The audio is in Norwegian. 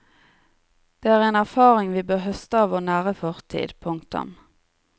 Det er en erfaring vi bør høste av vår nære fortid. punktum